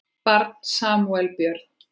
Barn Samúel Björn.